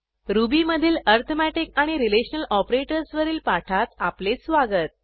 रुबीमधील अरिथमेटिक आणि relational operators वरील पाठात आपले स्वागत